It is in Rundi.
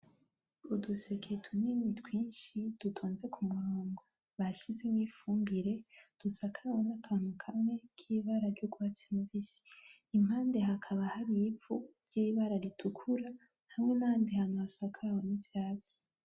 Uduseke tunini twinshi dutonze ku murongo bashizemwo ifumbire dusakawe nakantu kamwe kibara ry'ugwatsi rubisi, impande hakaba har'ivu vy'ibara ritukura, hamwe nahandi hantu hasakawe n'ivyatsi.